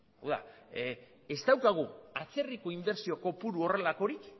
hau da ez daukagu atzerriko inbertsio kopuru horrelakorik